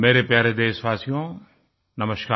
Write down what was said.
मेरे प्यारे देशवासियो नमस्कार